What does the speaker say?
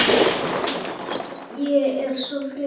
Ég er svo þreytt